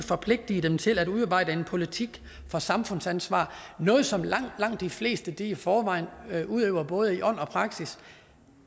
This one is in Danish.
forpligte dem til at udarbejde en politik for samfundsansvar noget som langt langt de fleste i forvejen udøver i både ånd og praksis